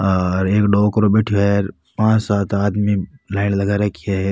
और एक डोकरो बैठो है पांच सात आदमी लाइन लगा रखी है र।